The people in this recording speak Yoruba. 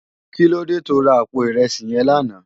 Kilódé tó rá àpó irèsí yèn làná?